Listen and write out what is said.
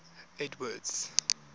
edward's